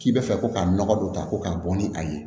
K'i bɛ fɛ ko ka nɔgɔ dɔ ta ko k'a bɔ ni a ye